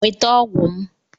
Nweta ọgwụ m!